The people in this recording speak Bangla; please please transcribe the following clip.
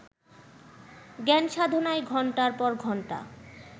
জ্ঞানসাধনায় ঘণ্টার পর ঘণ্টা